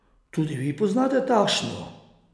Tudi vi poznate takšno?